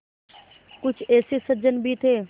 कुछ ऐसे सज्जन भी थे